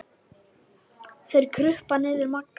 Þeir krupu niður að Magga.